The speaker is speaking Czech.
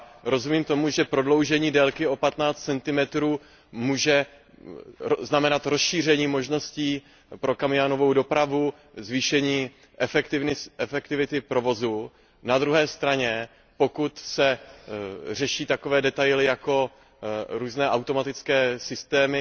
Já rozumím tomu, že prodloužení délky o 15 cm může znamenat rozšíření možností pro kamionovou dopravu, zvýšení efektivity provozu, na druhé straně, pokud se řeší takové detaily, jako různé automatické systémy,